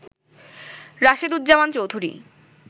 Rasheduzzaman Chowdhury